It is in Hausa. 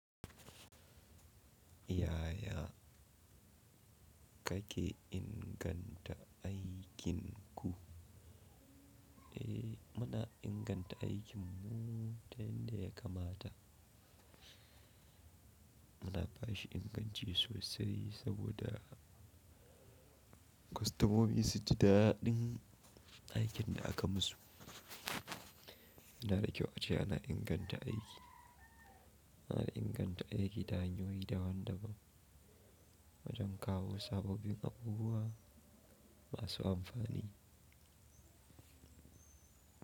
Yaya kake inganta aikinku? Eh, muna inganta aikinmu ta yanda ya kamata. Muna ba shi inganci sosai saboda kwastomomi su ji daɗin aikin da aka musu. Ina da kyau ace ana inganta aiki. Ana inganta aiki da hanyoyi daban-daban, wajen kawo sabobin abubuwa masu amfani.